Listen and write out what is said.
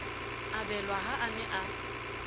abelwa ha a ne a